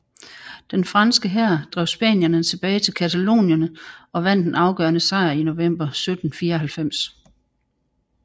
Den franske hær drev spanierne tilbage til Catalonien og vandt en afgørende sejr i november 1794